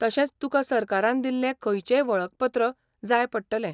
तशेंच तुका सरकारान दिल्लें खंयचेंय वळखपत्र जाय पडटलें.